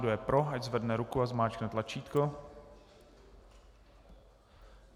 Kdo je pro, ať zvedne ruku a zmáčkne tlačítko.